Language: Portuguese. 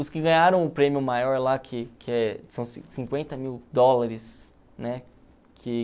Os que ganharam o prêmio maior lá, que que são cinquenta mil dólares, né? Que...